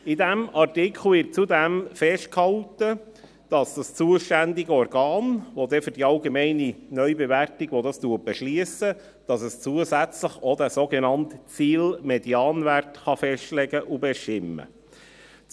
In diesem Artikel wird zudem festgehalten, dass das zuständige Organ, welches die allgemeine Neubewertung beschliesst, zusätzlich auch den sogenannten Ziel-Medianwert festlegen und bestimmen kann.